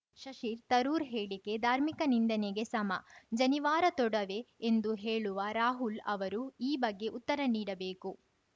ಶಶಿ ತರೂರ್‌ ಹೇಳಿಕೆ ಧಾರ್ಮಿಕ ನಿಂದನೆಗೆ ಸಮ ಜನಿವಾರ ತೊಡವೆ ಎಂದು ಹೇಳುವ ರಾಹುಲ್‌ ಅವರು ಈ ಬಗ್ಗೆ ಉತ್ತರ ನೀಡಬೇಕು